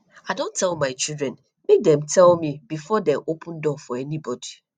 i don tell my children make dem tell me before dey open door for anybody